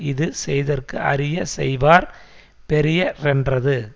இது செய்தற்கு அரிய செய்வார் பெரிய ரென்றது